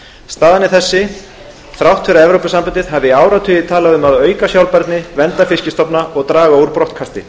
staðan er sú þrátt fyrir að evrópusambandið hafi í áratugi talað um að auka sjálfbærni vernda fiskstofna og draga úr brottkasti